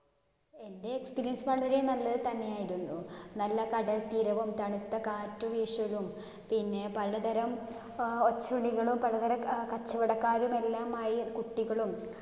എൻ്റെ experience വളരെ നല്ലത് തന്നെയായിരുന്നു. നല്ല കടൽത്തീരവും തണുത്ത കാറ്റു വീശലും പിന്നെ പലതരം ഏർ പലതരം അഹ് കച്ചവടക്കാരും എല്ലാമായി കുട്ടികളും